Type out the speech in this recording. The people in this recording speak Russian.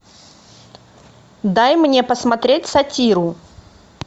дай мне посмотреть сатиру